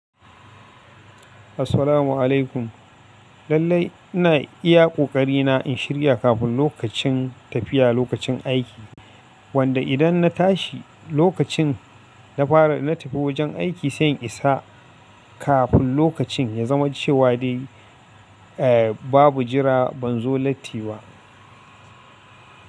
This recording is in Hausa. Assalamu alaikum. Lallai ina iya ƙoƙari na in shirya kafin lokacin tafiya lokacin aiki, wanda idan na tashi lokacin na fara na tafi wajen aiki, sai in isa kafin lokacin ya zama cewa dai, eh babu jira ban zo latti wa.